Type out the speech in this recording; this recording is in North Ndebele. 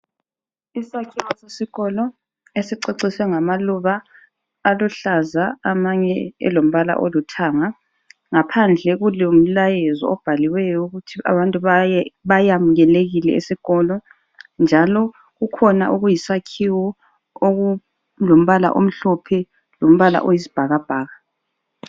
Isakhiwo sesikolo esiceciswe ngamaluba aluhlaza amanye elombala oluthanga ngaphandle kulomlayezo obhaliweyo ukuthi abantu bayamukelekile esikolo njalo kukhona okuyisakhiwo okulombala omhlophe lombala oyisibhakabhaka.